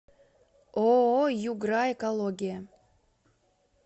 ооо югра экология